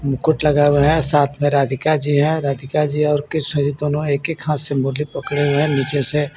मुकुट लगा हुआ है साथ में राधिका जी है राधिका जी और किशोरी दोनों एक-एक हाथ से मुरली पकड़े हुए है नीचे से